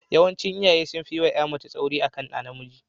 Yawancin iyaye sun fi yi wa ƴa mace tsauri akan ɗa namiji.